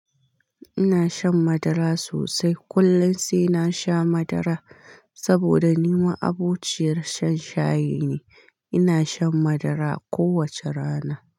Ina shan madara sosai. Kullum sai na sha madara saboda ni ma abotiyar shan shayi ne. Ina shan madara kowace rana.